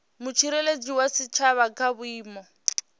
mutsireledzi wa tshitshavha kha vhuimo